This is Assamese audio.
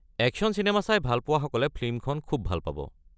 একশ্যন চিনেমা চাই ভালপোৱাসকলে ফিল্মখন খুউব ভাল পাব।